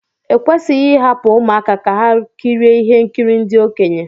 Ekwesịghị ịhapụ ụmụaka ka ha kirie ihe nkiri ndị okenye